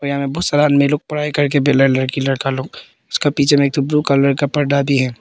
यहां मे बहुत सारे आदमी लोग पढ़ाई करके बेला लड़की लड़का लोग उसका पीछे में एक ठो ब्लू कलर का पर्दा भी है।